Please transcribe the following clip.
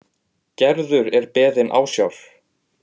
Gerður er beðin ásjár.